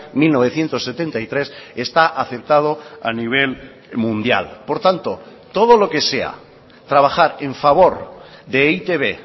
mil novecientos setenta y tres está aceptado a nivel mundial por tanto todo lo que sea trabajar en favor de e i te be